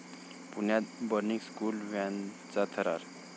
पुण्यात 'burning school व्हॅन'चा थरार